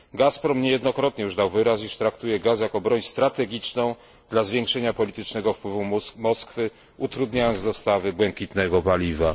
Gazprom niejednokrotnie już dał wyraz, iż traktuje gaz jako broń strategiczną dla zwiększenia politycznego wpływu Moskwy, utrudniając dostawy błękitnego paliwa.